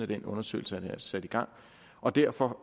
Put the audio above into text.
den undersøgelse blev sat i gang og derfor